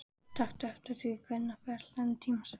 Taktu eftir því hvenær færslan er tímasett.